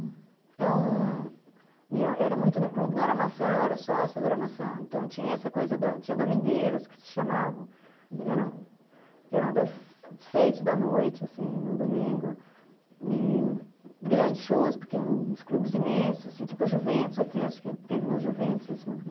Então, era muito no clube, não era Maçã, eu era sócia da Maçã, então tinha essa coisa, tinha domingueiras, que se chamavam, que eram das sete da noite, assim, no domingo, e grandes shows, porque eram uns clubes imensos, tipo o Juventus, aqui acho que teve no Juventus esse movimento.